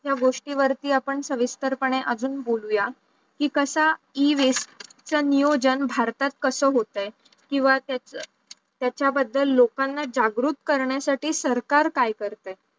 तो गोष्टीवरती आपण सव्हिस्कर पणे अजून बोलूया की कसा E-waste नियोजन भारतात कस होतायेत किंवा त्याचा बद्दल लोकां जागरूक करण्या साठी सरकार काय करताय